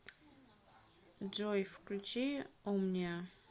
джой включи омниа